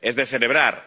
Es de celebrar.